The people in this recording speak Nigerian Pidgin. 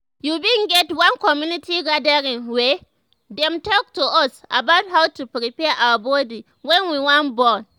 we bin get one community gathering wey dem talk to us about how to prepare our body when we wan born